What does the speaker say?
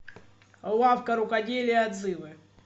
лавка рукоделия отзывы